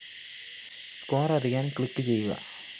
score‍ അറിയാന്‍ click ചെയ്യുക